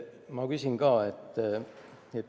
" Ma küsin samuti.